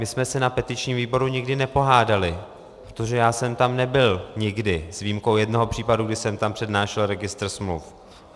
My jsme se na petičním výboru nikdy nepohádali, protože já jsem tam nebyl nikdy s výjimkou jednoho případu, kdy jsem tam přednášel registr smluv.